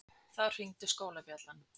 Þá hringdi skólabjallan.